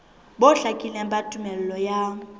bo hlakileng ba tumello ya